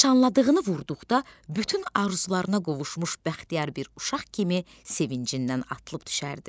Nişanladığını vurduqda bütün arzularına qovuşmuş bəxtiyar bir uşaq kimi sevincindən atılıb düşərdi.